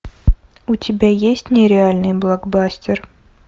у тебя есть нереальный блокбастер